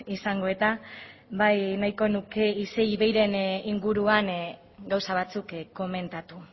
izango eta bai nahiko nuke isei iveiren inguruan gauza batzuk komentatu